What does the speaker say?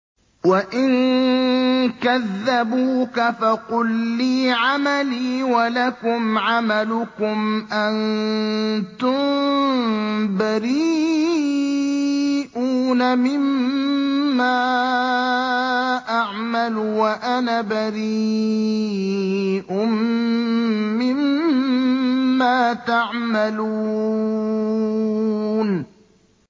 وَإِن كَذَّبُوكَ فَقُل لِّي عَمَلِي وَلَكُمْ عَمَلُكُمْ ۖ أَنتُم بَرِيئُونَ مِمَّا أَعْمَلُ وَأَنَا بَرِيءٌ مِّمَّا تَعْمَلُونَ